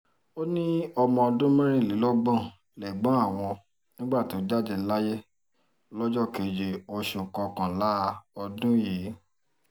ó ní ọmọ ọdún mẹ́rìnlélọ́gbọ̀n lẹ́gbọ̀n àwọn nígbà tó jáde láyé lọ́jọ́ keje oṣù kọkànlá ọdún yìí